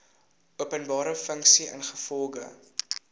openbare funksie ingevolge